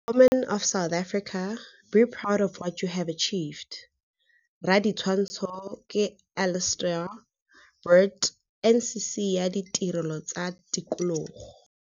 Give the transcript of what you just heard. Women of South Africa, be proud of what you have achieved. Raditshwantsho ke Alistair Burt NCC ya Ditirelo tsa Tikologo.